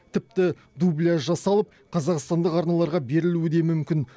тіпті дубляж жасалып қазақстандық арналарға берілуі де мүмкін